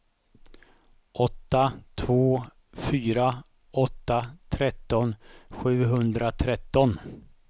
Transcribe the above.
åtta två fyra åtta tretton sjuhundratretton